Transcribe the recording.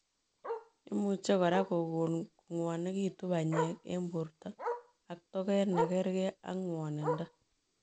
Imuchii kora kogon kongwanekitu panyeek eng portoo ak toget nekargei ak ngwanindoo.